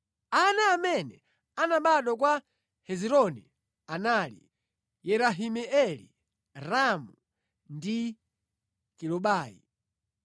Ana amene anabadwa kwa Hezironi anali: Yerahimeeli, Ramu ndi Kelubai.